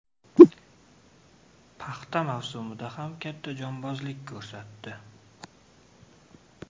Paxta mavsumida ham katta jonbozlik ko‘rsatdi.